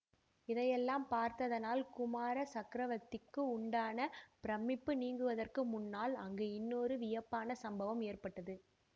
இதையெல்லாம் பார்த்ததனால் குமார சக்கரவர்த்திக்கு உண்டான பிரமிப்பு நீங்குவதற்கு முன்னால் அங்கு இன்னொரு வியப்பான சம்பவம் ஏற்பட்டது